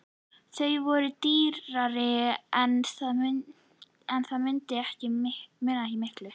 Þau voru dýrari en það munaði ekki miklu.